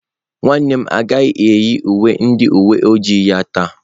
Nwannem agaghi eyi uwe ndi uwe ojii ya taa.